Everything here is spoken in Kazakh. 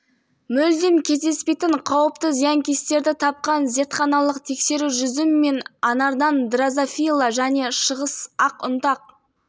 сымыры деп аталатын жәндіктерді анықтап берді инспекторлар қазақ-қырғыз шекарасынан бір тәулік ішінде заңбұзушылыққа жол берген